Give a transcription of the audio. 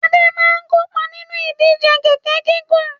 Adé kópa nínú ìdíje kẹ̀ẹ̀kẹ́ gígùn.